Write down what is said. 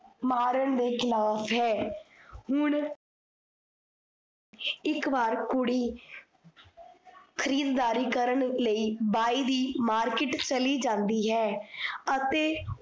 ਮਾਰਣ ਦੇ ਖਿਲਾਫ ਹੈ। ਹੁਣ ਇੱਕ ਬਾਰ ਕੁੜੀ ਖੀਰਦਾਰੀ ਕਰਨ ਲਈ ਬਾਈ ਦੀ market ਚਲੀ ਜਾਂਦੀ ਹੈ। ਅਤੇ